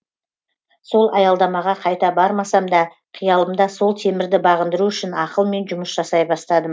сол аялдамаға қайта бармасам да қиялымда сол темірді бағындыру үшін ақылмен жұмыс жасай бастадым